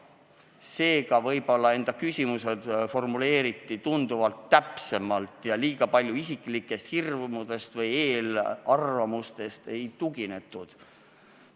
Seega võib-olla formuleeriti enda küsimused tunduvalt täpsemalt ja liiga palju isiklikest hirmudest või eelarvamustest ei lähtutud.